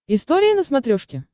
история на смотрешке